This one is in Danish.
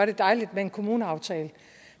dejligt med en kommuneaftale